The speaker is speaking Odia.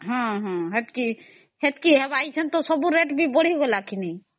ହଁ ହେଟିକି ହବ ସବୁ rate ବି ବଢିଗଲା ନ ନାଇଁ